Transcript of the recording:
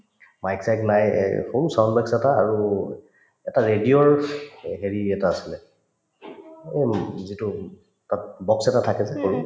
mic চাইক নাই এই সৰু sound box এটা আৰু এটা radio ৰ এ হেৰি এটা আছিলে যিটো box এটা থাকে যে সৰু